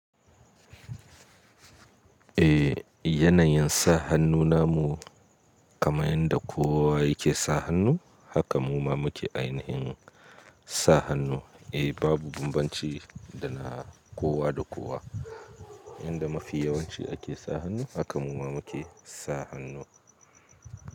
Eh, yanayin sa hannu namu kamar yadda kowa yake sa hannu, haka muma muke ainihin sa hannu. Eh babu bambanci da na kowa da kowa. Yanda mafi yawanci ake sa hannu haka muma muke sa hannu.